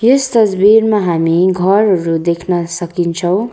यस तस्बिरमा हामी घरहरू देख्न सकिन्छौँ।